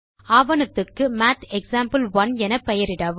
ஆவணத்துக்கு math example 1 என பெயரிடவும்